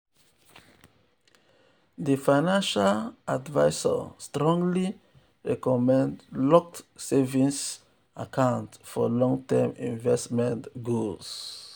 di financial um advisor strongly recommend locked um savings um accounts for long-term investment goals.